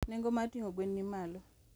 Nengo mar ting'o gwen ni malo.